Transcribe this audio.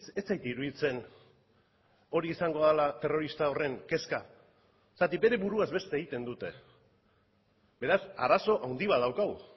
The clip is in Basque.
ez zait iruditzen hori izango dela terrorista horren kezka zergatik bere buruaz beste egiten dute beraz arazo handi bat daukagu